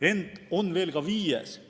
Ent on veel viieski põhjus.